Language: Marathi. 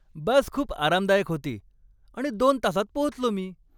बस खूप आरामदायक होती आणि दोन तासांत पोहोचलो मी.